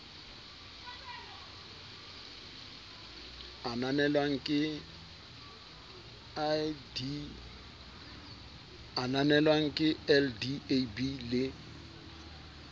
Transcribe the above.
a ananelwang ke ldab le